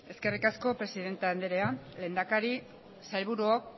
eskerrik asko presidente anderea lehendakari sailburuok